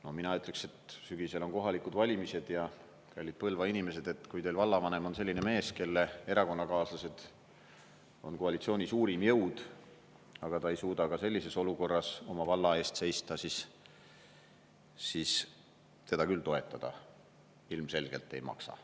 No mina ütleksin, et sügisel on kohalikud valimised ja, kallid Põlva inimesed, kui teil vallavanem on selline mees, kelle erakonnakaaslased on koalitsiooni suurim jõud, aga ta ei suuda ka sellises olukorras oma valla eest seista, siis teda küll toetada ilmselgelt ei maksa.